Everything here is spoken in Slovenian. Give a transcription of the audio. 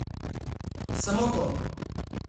Samo to.